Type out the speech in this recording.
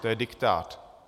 To je diktát!